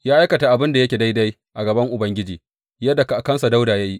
Ya aikata abin da yake daidai a gaban Ubangiji yadda kakansa Dawuda ya yi.